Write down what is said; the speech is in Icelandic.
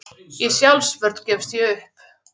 Í sjálfsvörn gefst ég upp.